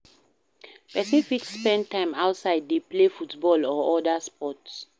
Person fit spend time outside dey play football or oda sports